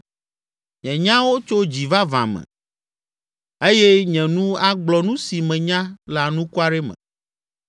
Nye nyawo tso dzi vavã me eye nye nu agblɔ nu si menya le anukware me.